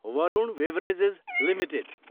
Varun beverages Ltd